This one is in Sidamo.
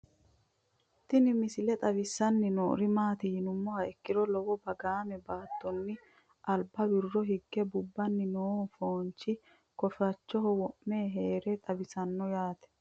Tinni misile xawissanni noori maatti yinummoha ikkiro lowo baggaamme baattonni alibba woro hige kubbanni noo foonichchi kooffichoho wo'me heerasi xawissanno yaatte